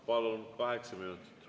Palun, kaheksa minutit!